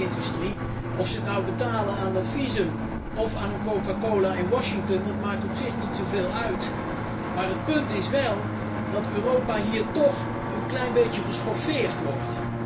Of toeristen dit nu betalen aan dat visum of aan een coca cola in Washington, dat maakt op zich niet zoveel uit, maar het punt is wel dat Europa hier toch een klein beetje geschoffeerd wordt.